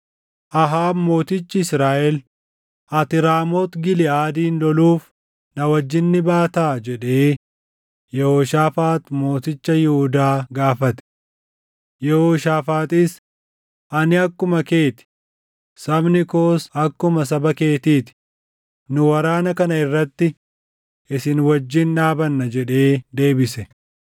Ahaab mootichi Israaʼel, “Ati Raamooti Giliʼaadin loluuf na wajjin ni baataa?” jedhee Yehooshaafaax mooticha Yihuudaa gaafate. Yehooshaafaaxis, “Ani akkuma kee ti; sabni koos akkuma saba keetii ti; nu waraana kana irratti isin wajjin dhaabanna” jedhee deebise.